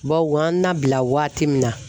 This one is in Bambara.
Bawo an nabila waati min na